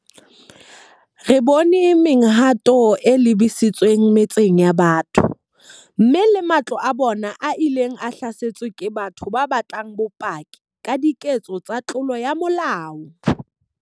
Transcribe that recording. Re bone mehwanto e lebisitsweng metseng ya batho, mme le matlo a bona a ileng a hlaselwa ke batho ba batlang bopaki ba diketso tsa tlolo ya molao.